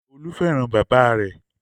Olú fẹ́ràn bàbá rẹ̀.